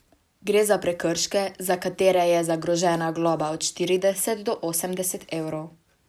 Gre za prekrške, za katere je zagrožena globa od štirideset do osemdeset evrov.